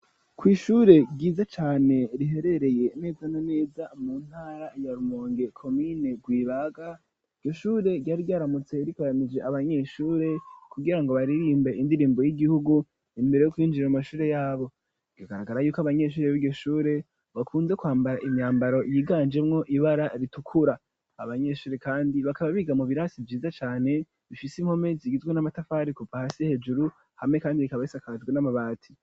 kw’ishure ryiza cane riherereye neza neza mu ntara ya Rumonge komine Rwibaga ishure ryari ryaramutse rikoranije abanyeshure kugirango baririmbe indirimbo y'igihugu imbere yo kwinjira mu mashure yabo bigaragara yuko abanyeshuri biryo shure bakunze kwambara imyambaro yiganjemwo ibara ritukura abanyeshure kandi bakaba biga mu birasi vyiza cane bifise impome zigizwe n'amatafari kuva hasi hejuru hamwe kandi bikaba hisakajwe n'amabati.